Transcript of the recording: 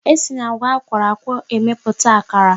E si n'agwa akworo akwo emepụta akara